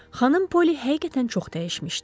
Xanım Poli həqiqətən çox dəyişmişdi.